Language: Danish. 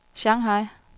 Shanghai